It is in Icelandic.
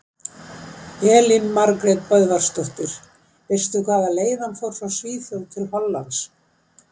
Elín Margrét Böðvarsdóttir: Veistu hvaða leið hann fór frá Svíþjóð til Hollands?